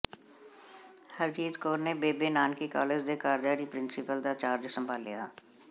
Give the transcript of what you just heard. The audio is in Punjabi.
ਹਰਜੀਤ ਕੌਰ ਨੇ ਬੇਬੇ ਨਾਨਕੀ ਕਾਲਜ ਦੇ ਕਾਰਜਕਾਰੀ ਪਿ੍ੰਸੀਪਲ ਦਾ ਚਾਰਜ ਸੰਭਾਲਿਆ